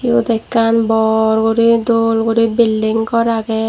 ekan bor guri doll guri billing gor aagay.